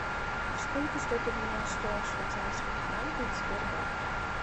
сколько стоит обменять сто швейцарских франков в сбербанке